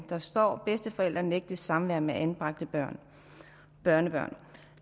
der står bedsteforældre nægtes samvær med anbragte børnebørn